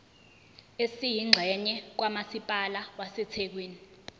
esiyingxenye kamasipala wasethekwini